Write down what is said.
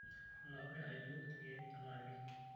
Enaure aijoo ilkeek anaake.